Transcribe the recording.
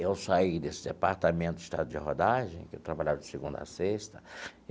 Eu saí desse departamento de Estrada de Rodagem, que eu trabalhava de segunda a sexta.